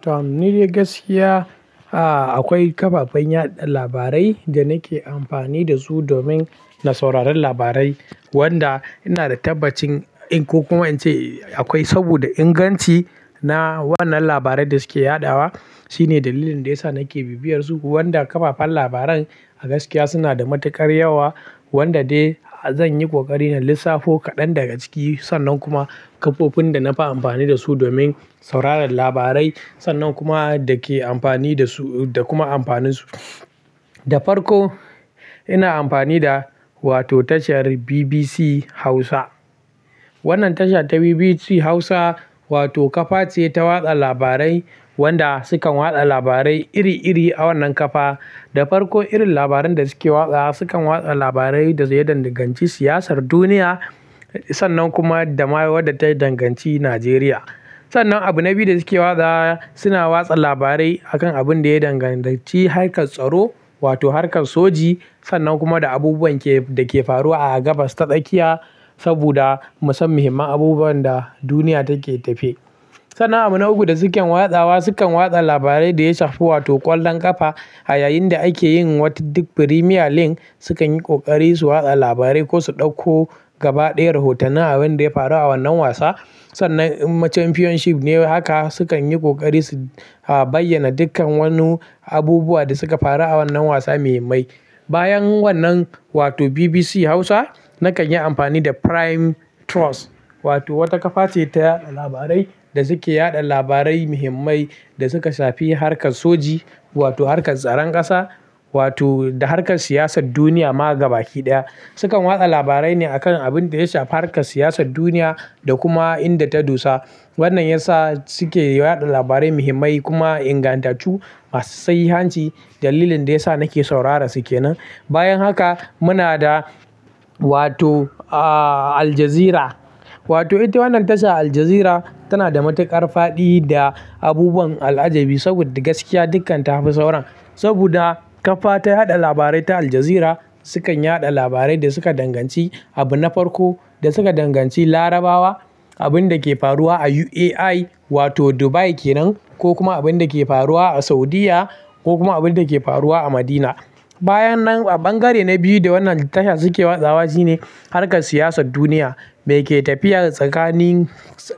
Tom, ni dai gaskiya, ah akwai kafafen yaɗa labarai da nake amfani da su domin na sauraron labarai wanda ina da tabbacin in ko kuma in ce akwai saboda inganci na wannan labarai da suke yaɗawa. Shine dalilin da yasa nake bibiyarsu. Wanda kafafen labaran a gaskiya suna da matuƙar yawa wanda dai zan yi kokari na lissafo kaɗan daga ciki. Sannan kuma kafofin da nafi amfani da su domin sauraron labarai sannan kuma dake amfani da su da kuma amfaninsu. Da farko ina amfani da wato tashar BBC Hausa. Wannan tasha ta BBC Hausa wato kafa ce ta watsa labarai wanda sukan watsa labarai iri iri a wannan kafa. Da farko irin labaran da suke watsawa sukan watsa labarai da ya danganci siyasar duniya sannan kuma da ma wadda ta danganci Najeriya. Sannan abu na biyu da suke watsawa suna watsa labarai a kan abin da ya danganci harkar tsaro wato harkar soji sannan kuma da abubuwan ke da ke faruwa a gabas ta tsakiya saboda mu san muhimman abubuwan da duniya take tafiya. Sannan abu na uku da suke watsawa sukan watsa labarai da ya shafi wato ƙwallon ƙafa a yayin da ake yin wata duk Premier League sukan yi ƙoƙari su watsa labarai ko su ɗauko gaba ɗaya rahotannin abinda ya faru a wannan wasa. Sannan inma Championship ne haka sukan yi kokari su bayyana dukkan wani abubuwa da suka faru a wannan wasa muhimmai. Bayan wannan wato BBC Hausa nakan yi amfani da Prime Trust wato wata kafa ce ta yaɗa labarai da suke yaɗa labarai muhimmai da suka shafi harkar soji wato harkar tsaron ƙasa wato da harkar siyasar duniya ma gaba ki ɗaya. Sukan watsa labarai ne a kan abin da ya shafi harkar siyasar duniya da kuma inda ta dosa. Wannan ya sa suke yaɗa labarai muhimmai kuma ingantattu masu sahihanci dalilin da ya sa nake sauraran su ke nan. Bayan haka muna da wato, a, Al Jazeera wato ita wannan tasha Al Jazeera tana da matuƙar faɗi da abubuwan al'ajabi saboda gaskiya dukkan ta fi sauran. Saboda kafa ta yaɗa labarai ta Al Jazeera sukan yaɗa labarai da suka danganci abu na farko da suka danganci Larabawa, abin da ke faruwa a UAE wato Dubai kenan ko kuma abin da ke faruwa a Saudiyya ko kuma abin da ke faruwa a Madina. Bayan nan a ɓangare na biyu da wannan tasha suke watsawa shine harkar siyasar duniya me ke tafiya tsakanin